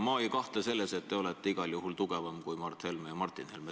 Ma ei kahtle selles, et te olete igal juhul tugevam kui Mart Helme ja Martin Helme.